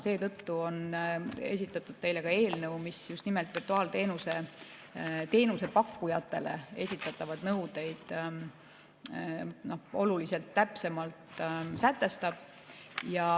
Seetõttu on esitatud teile ka eelnõu, mis just nimelt virtuaalteenuse pakkujatele esitatavaid nõudeid oluliselt täpsemalt sätestab.